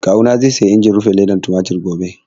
Kawu na zai siyi injin rufe ledar tumatir gobe